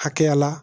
Hakɛya la